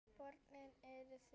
Börnin eru þrjú.